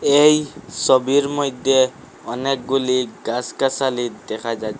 এই ছবির মধ্যে অনেকগুলি গাছ গাছালি দেখা যা--